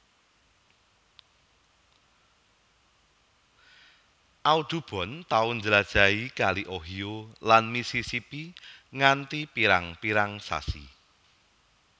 Audubon tau njlajahi kali Ohio lan Missisipi nganti pirang pirang sasi